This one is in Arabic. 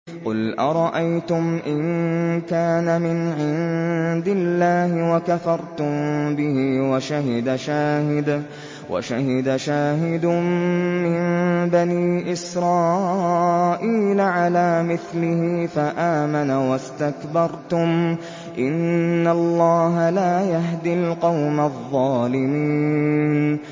قُلْ أَرَأَيْتُمْ إِن كَانَ مِنْ عِندِ اللَّهِ وَكَفَرْتُم بِهِ وَشَهِدَ شَاهِدٌ مِّن بَنِي إِسْرَائِيلَ عَلَىٰ مِثْلِهِ فَآمَنَ وَاسْتَكْبَرْتُمْ ۖ إِنَّ اللَّهَ لَا يَهْدِي الْقَوْمَ الظَّالِمِينَ